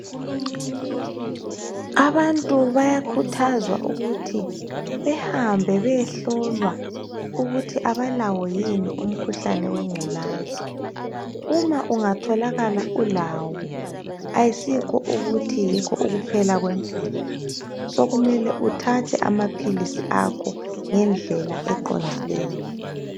Abantu bayakhuthazwa ukuthi behambe beyehlolwa ukuthi abalawo yin umkhuhlane wengculazi uma ungatholakala ulawo asikho ukuthi yikho ukuphela kwempilo sokumele uthathe amapills akho ngendlela eqondileyo